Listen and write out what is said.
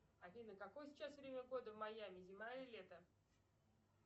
афина какое сейчас время года в майами зима или лето